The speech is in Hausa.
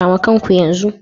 Kama kan ku yanzu.